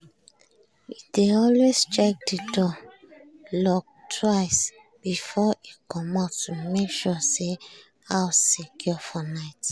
e dey always check the door locks twice before e comot to make sure say house secure for night.